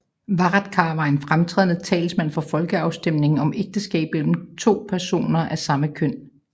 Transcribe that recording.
Varadkar var en fremtrædende talsmand for folkeafstemningen om ægteskab mellem personer af samme køn